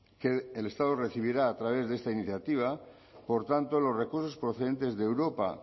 que el estado recibirá a través de esta iniciativa por tanto los recursos procedentes de europa